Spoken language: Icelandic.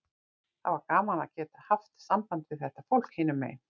Það var gaman að geta haft samband við þetta fólk hinum megin.